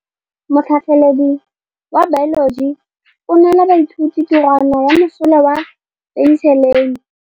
Motlhatlhaledi wa baeloji o neela baithuti tirwana ya mosola wa peniselene.